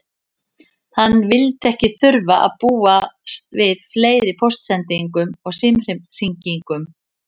Hann vildi ekki þurfa að búast við fleiri póstsendingum og símhringingum.